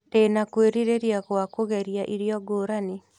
Ndĩna kwĩrirĩria gwa kũgeria irio ngũrani.